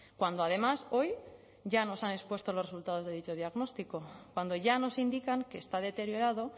cuando además hoy ya nos han expuesto los resultados de dicho diagnóstico cuando ya nos indican que está deteriorado